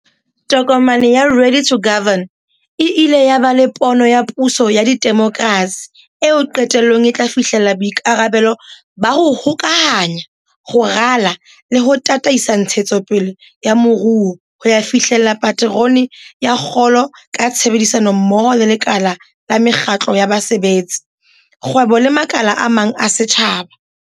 Tokomane ya Ready to Govern e ile ya ba le pono ya puso ya demokrasi eo qetellong e tla fihlella boikarabelo ba ho hokahanya, ho rala le ho tataisa ntshetsopele ya moruo ho ya fihlella paterone ya kgolo ka tshebedisanommoho le lekala la mekgatlo ya basebetsi, kgwebo le makala a mang a setjhaba.